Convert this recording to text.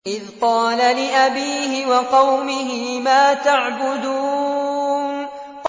إِذْ قَالَ لِأَبِيهِ وَقَوْمِهِ مَا تَعْبُدُونَ